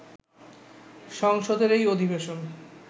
সংসদের এই অধিবেশন